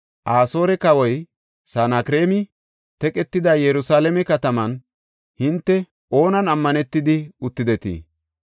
Asoore kawoy Sanakreemi, “Teqetida Yerusalaame kataman hinte oonan ammanetidi uttidetii?